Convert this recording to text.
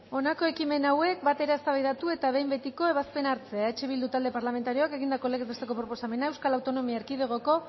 honako ekimen hauek batera eztabaidatu eta behin betiko ebazpena hartzea eh bildu talde parlamentarioak egindako legez besteko proposamena euskal autonomia erkidegoko